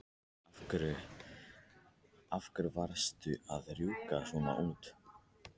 Af hverju varstu að rjúka svona út?